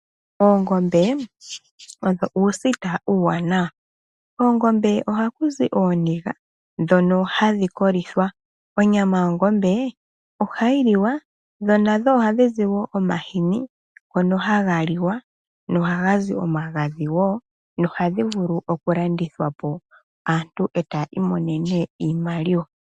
Oongombe odho uusita uuwanawa. Koongombe oha ku zi ooniga ndhono hadhi kolithwa. Onyama yongombe ohayi liwa. Dho nadho oha dhi zi woo omahini ngono haga liwa noha ga zi omagadhi woo. Ohadhi vulu oku landithwa po aantu eta ya imonene iimaliwa.